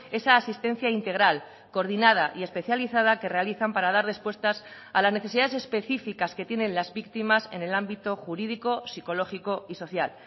esa asistencia integral coordinada y especializada que realizan para dar respuestas a las necesidades específicas que tienen las víctimas en el ámbito jurídico psicológico y social